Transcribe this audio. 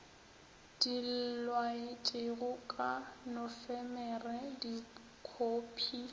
di laetšwego ka nofemere dikhophi